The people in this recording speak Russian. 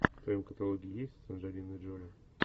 в твоем каталоге есть анджелина джоли